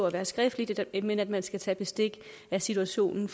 at være skriftligt jeg mener at man skal tage bestik af situationen